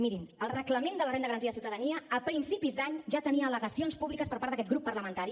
mirin el reglament de la renda garantida de ciutadania a principis d’any ja tenia al·legacions públiques per part d’aquest grup parlamentari